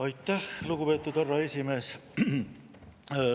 Aitäh, lugupeetud härra esimees!